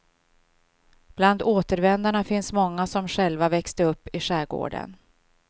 Bland återvändarna finns många som själva växte upp i skärgården.